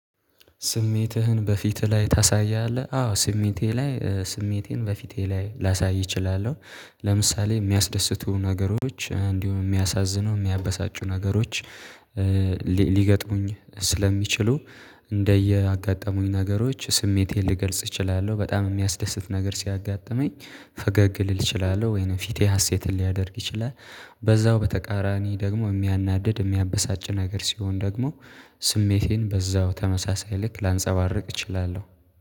ስሜትህን በፊትህ ላይ ታሳያለህ አዎ ስሜቴ ላይ ስሜቴን በፊቴ ላይ ላሳይ እችላለሁ። ለምሳሌ የሚያስደስቱ ነገሮች እንዲሁም የሚያሳዝነው የሚያበሳጩ ነገሮች። ሊገጥሙኝ ስለሚችሉ እንደየአጋጠሙኝ ነገሮች ስሜቴን ልገልጽ እችላለሁ። በጣም የሚያስደስት ነገር ሲያጋጥመኝ ፈገግ ልል እችላለሁ ወይንም ፊቴ ሀሴትን ሊያደርግ ይችላል። በዛው በተቃራኒ ደግሞ የሚያናድድ የሚያበሳጭ ነገር ሲሆን ደግሞ ስሜቴን በዛው ተመሳሳይ ልክ ላንጸባርቅ እችላለሁ